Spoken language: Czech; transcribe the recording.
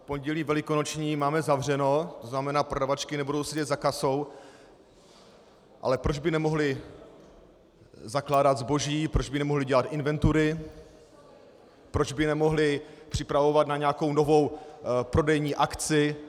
V Pondělí velikonoční máme zavřeno, to znamená prodavačky nebudou sedět za kasou, ale proč by nemohly zakládat zboží, proč by nemohly dělat inventury, proč by nemohly připravovat na nějakou novou prodejní akci?